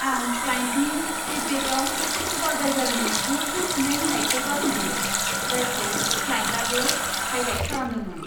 आं क्लाइन्टनि फिडबेकाव सुपारभाइजारनि गोख्रै फिन्नाय होनायखौ बाख्नायो, जायखौ क्लाइन्टआबो हाईलाइट खालामदोंमोन।